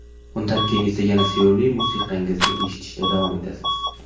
Undan keyin esa yana sevimli musiqangizni eshitishda davom etasiz.